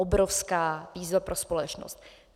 Obrovská výzva pro společnost.